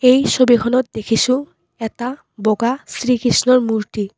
এই ছবিখনত দেখিছোঁ এটা বগা শ্ৰীকৃষ্ণৰ মূৰ্তি।